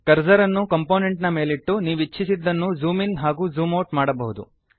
cursor ಅನ್ನು component ನ ಮೇಲಿಟ್ಟು ನೀವಿಚ್ಛಿಸಿದ್ದನ್ನು ಜೂಮ್ ಇನ್ ಹಾಗೂ ಜೂಮ್ ಔಟ್ ಮಾಡಬಹುದು